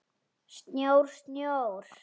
Snjór, snjór.